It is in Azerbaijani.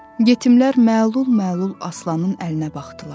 Yetimlər məlul-məlul Aslanın əlinə baxdılar.